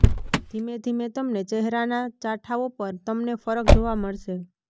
ધીમે ધીમે તમને ચહેરાના ચાઠાઓ પર તમને ફરક જોવા મળશે